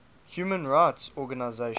human rights organisations